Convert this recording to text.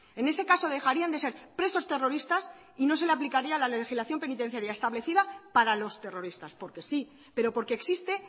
en ese caso dejarían de ser presos terroristas y no se le aplicaría la legislación penitenciaria establecida para los terroristas porque sí pero porque existe